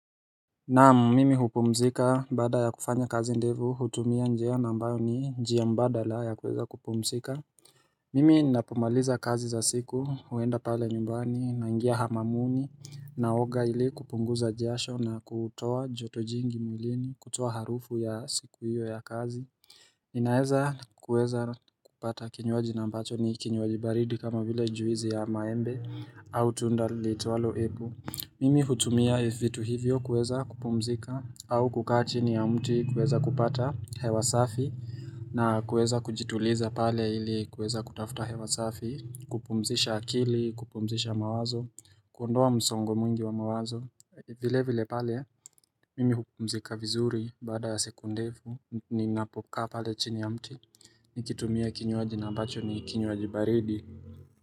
Naamumimi hupumzika baada ya kufanya kazi ndevu hutumia njia nambayo ni njia mbadala ya kuweza kupumzika Mimi napomaliza kazi za siku huenda pale nyumbani na ingia hamamuni naoga ili kupunguza jasho na kutoa joto jingi mwilini kutoa harufu ya siku hiyo ya kazi inaeza kuweza kupata kinywaji na ambacho ni kinywaji baridi kama vile juizi ya maembe au tunda litualo apple Mimi hutumia vitu hivyo kuweza kupumzika au kukaa chini ya mti kuweza kupata hewa safi na kuweza kujituliza pale ili kuweza kutafuta hewa safi, kupumzisha akili, kupumzisha mawazo, kuondoa msongo mwingi wa mawazo, vile vile pale, mimi hupumzika vizuri baada siku ndefu, ninapoka pale chini ya mti, nikitumia kinywaji na ambacho ni kinywaji baridi.